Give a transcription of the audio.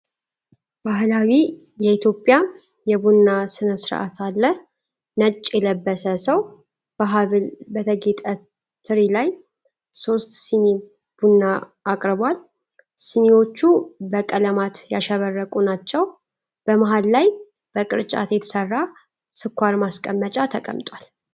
ባህላዊ የኢትዮጵያ የቡና ሥነ ሥርዓት አለ። ነጭ የለበሰ ሰው በሐብል በተጌጠ ትሪ ላይ ሦስት ስኒ ቡና አቅርቧል። ስኒዎቹ በቀለማት ያሸበረቁ ናቸው። በመሃል ላይ በቅርጫት የተሰራ ስኳር ማስቀመጫ ተቀምጧል።